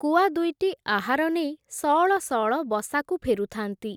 କୁଆଦୁଇଟି ଆହାର ନେଇ ସଅଳ ସଅଳ ବସାକୁ ଫେରୁଥାନ୍ତି ।